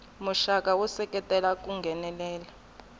muxaka wo seketela ku nghenelela